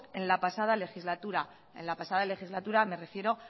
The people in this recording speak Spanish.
en la pasada legislatura en la pasada legislatura me refiero